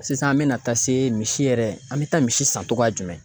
Sisan an be na taa se misi yɛrɛ ,an be taa misi san cogoya jumɛn